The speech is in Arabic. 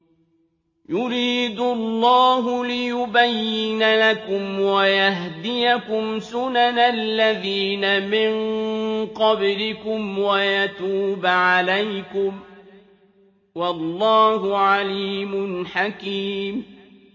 يُرِيدُ اللَّهُ لِيُبَيِّنَ لَكُمْ وَيَهْدِيَكُمْ سُنَنَ الَّذِينَ مِن قَبْلِكُمْ وَيَتُوبَ عَلَيْكُمْ ۗ وَاللَّهُ عَلِيمٌ حَكِيمٌ